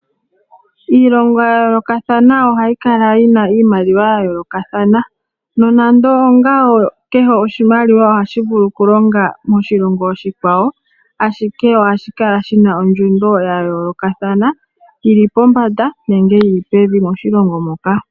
Iilongo ya yoolokathana ohayi kala yi na iimaliwa ya yoolokathana. Nonando ongawo, kehe oshimaliwa ohashi vulu okulonga moshilongo oshikwawo, ashike ohashi kala shi na ondjundo ya yoolokathana, yi li pombanda nenge yi li pevi moshilongo moka.